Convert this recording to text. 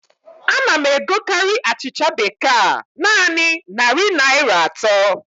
A na m egokarị achịcha bekee a naanị narị Naịra atọ